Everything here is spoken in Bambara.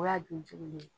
O y'a don jugu le ye